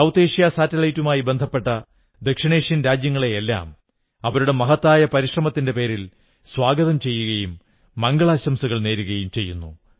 south Asia സാറ്റലൈറ്റുമായിബന്ധപ്പെട്ട ദക്ഷിണേഷ്യൻ രാജ്യങ്ങളെയെല്ലാം അവരുടെ മഹത്തായ പരിശ്രമത്തിന്റെ പേരിൽ സ്വാഗതം ചെയ്യുകയും മംഗളാശംസകൾ നേരുകയും ചെയ്യുന്നു